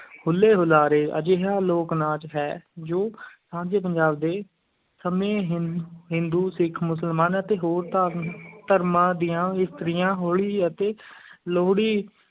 ਹੁੱਲੇ-ਹੁਲਾਰੇ ਅਜਿਹਾ ਲੋਕ-ਨਾਚ ਹੈ ਜੋ ਸਾਂਝੇ ਪੰਜਾਬ ਦੇ ਸਮੇਂ ਹਿੰ ਹਿੰਦੂ, ਸਿੱਖ, ਮੁਸਲਮਾਨ ਅਤੇ ਹੋਰ ਧਾ ਧਰਮਾਂ ਦੀਆਂ ਇਸਤਰੀਆਂ ਹੋਲੀ ਅਤੇ ਲੋਹੜੀ